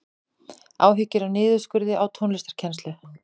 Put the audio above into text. Áhyggjur af niðurskurði á tónlistarkennslu